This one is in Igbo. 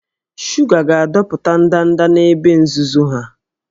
Shuga ga-adọpụta ndanda n'ebe nzuzo ha